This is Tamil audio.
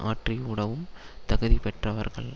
ஆற்றி உடவும் தகுதி பெற்றவர்கள்